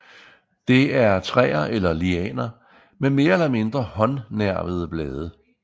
Det er træer eller lianer med mere eller mindre håndnervede blade